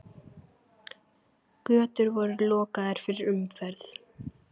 Götur voru lokaðar fyrir umferð.